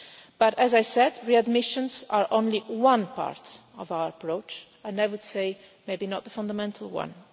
But as I said, readmissions are only one part of our approach, and I would say maybe not the fundamental one.